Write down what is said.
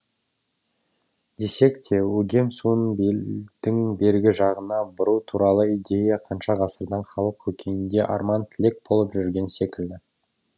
десек те өгем суын белдің бергі жағына бұру туралы идея қанша ғасырдан халық көкейінде арман тілек болып жүрген секілді